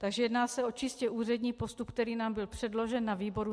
Takže jedná se o čistě úřední postup, který nám byl předložen na výboru.